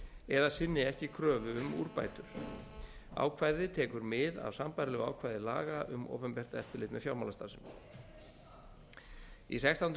eða sinni ekki kröfu um úrbætur ákvæðið tekur mið af sambærilegu ákvæði laga um opinbert eftirlit með fjármálastarfsemi í sextándu